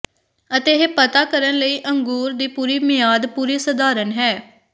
ਅਤੇ ਇਹ ਪਤਾ ਕਰਨ ਲਈ ਅੰਗੂਰ ਦੀ ਪੂਰੀ ਮਿਆਦ ਪੂਰੀ ਸਧਾਰਨ ਹੈ